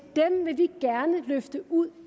dem vil vi gerne løfte ud